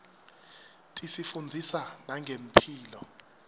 tisifundzisa nangemphilo